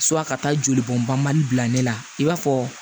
ka taa jolibɔnbali bila ne la i b'a fɔ